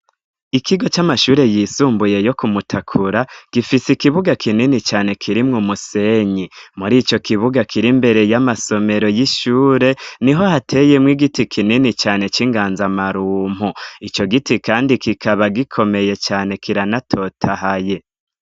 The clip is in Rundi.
Ikigo c'amashure yisumbuye yo ku Mutakura, gifis' ikibuga kinini cane kirimw' umusenyi mur'ico kibuga kiri mbere y'amasomero y'ishure, niho hateye mw' igiti kinini cane c'inganzamarumpu, ico giti kandi kikaba gikomeye cane kiranatotahaye.